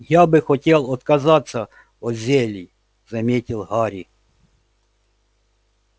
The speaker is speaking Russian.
я бы хотел отказаться от зелий заметил гарри